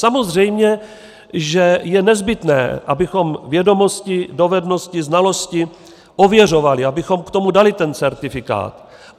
Samozřejmě že je nezbytné, abychom vědomosti, dovednosti, znalosti ověřovali, abychom k tomu dali ten certifikát.